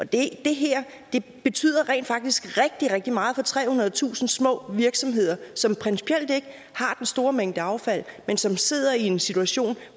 det her betyder rent faktisk rigtig rigtig meget for trehundredetusind små virksomheder som principielt ikke har den store mængde affald men som sidder i en situation